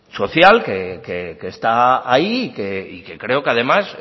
social que está ahí y que creo que además